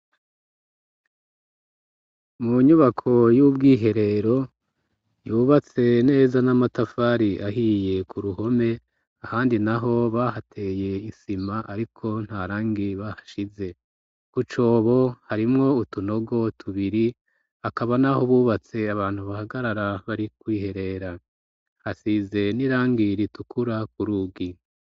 Mu nyubako y'ubwiherero yubatse neza n'amatafari ahiye ku ruhome ahandi naho bahateye isima ariko ntarangi bahashize kucobo harimwo utunogo tubiri akaba naho bubatse abantu bahagarara bari kwiherera, hasize n'irangi ritukura ku rugi.